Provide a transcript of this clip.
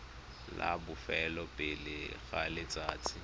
la bofelo pele ga letsatsi